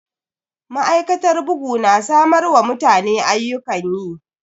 Ma'aikatar bugu na samar wa mutane ayyukan yi.